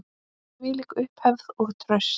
Þvílík upphefð og traust.